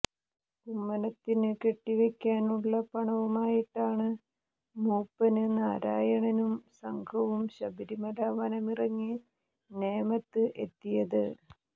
കുമ്മനത്തിന് കെട്ടിവെയക്കാനുള്ള പണവുമായിട്ടാണ് മൂപ്പന് നാരായണനും സംഘവും ശബരിമല വനമിറങ്ങി നേമത്ത് എത്തിയത്